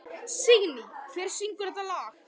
Signý, hver syngur þetta lag?